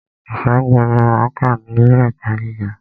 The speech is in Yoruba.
Ìṣègùn ni máa kà ní ilé ẹ̀kọ́ gíga.